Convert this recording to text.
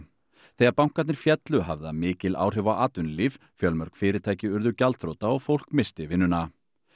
þegar bankarnir féllu hafði það mikil áhrif á atvinnulíf fjölmörg fyrirtæki urðu gjaldþrota og fólk missti vinnuna